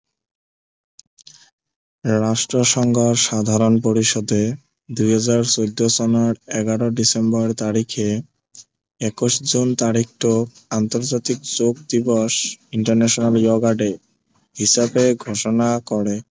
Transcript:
ৰাষ্ট্ৰ সংঘৰ সাধাৰন পৰিষদে দুই হাজাৰ চৈধ্য় চনৰ এঘাৰ ডিচেম্বৰ তাৰিখে একৈশ জোন তাৰিখটোক আন্তৰ্জাতিক যোগ দিৱস international yoga day হিচাপে ঘোষণা কৰে